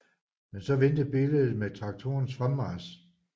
Men så vendte billedet med traktorens fremmarch